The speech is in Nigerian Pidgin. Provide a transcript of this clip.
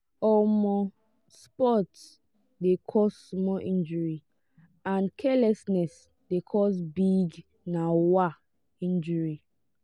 um sports de cause small injury and carelessness de cause big um injury